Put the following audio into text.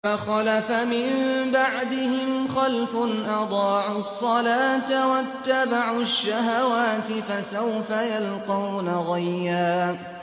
۞ فَخَلَفَ مِن بَعْدِهِمْ خَلْفٌ أَضَاعُوا الصَّلَاةَ وَاتَّبَعُوا الشَّهَوَاتِ ۖ فَسَوْفَ يَلْقَوْنَ غَيًّا